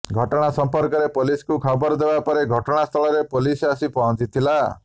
ଘଟଣା ସଂପର୍କରେ ପୋଲିସକୁ ଖବର ଦେବାପରେ ଘଟଣାସ୍ଥଳରେ ପୋଲିସ ଆସି ପହଞ୍ଚିଥିଲା